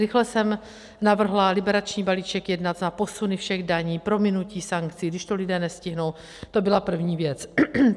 Rychle jsem navrhla liberační balíček jednat na posuny všech daní, prominutí sankcí, když to lidé nestihnou, to byla první věc.